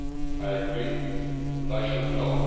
I agree, and I should know.